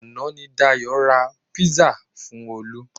Àná ni Dayọ̀ ra pizza fun olu